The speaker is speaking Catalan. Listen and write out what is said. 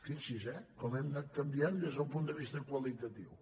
fixi’s eh com hem anat canviant des del punt de vista qualitatiu